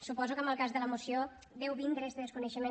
suposo que en el cas de la moció deu vindre este desconeixement